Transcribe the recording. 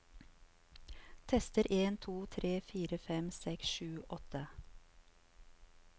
Tester en to tre fire fem seks sju åtte